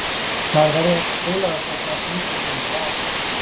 Maður verður ekkert heilagur þótt maður syndgi ekki í einhver ár.